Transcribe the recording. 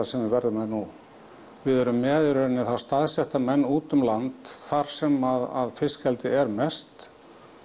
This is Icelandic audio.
sem við verðum með nú við erum með í rauninni þá staðsetta menn út um land þar sem fiskeldi er mest